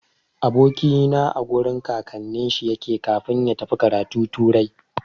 Aboki na a gurin kakannin shi yake kafin ya tafi karatu turai.